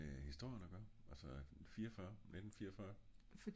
hva har det med historien af gører? 44 1944?